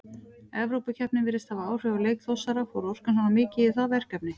Evrópukeppnin virtist hafa áhrif á leik Þórsara, fór orkan svona mikið í það verkefni?